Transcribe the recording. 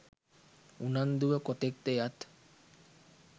උනන්දුව කොතෙක් ද යත්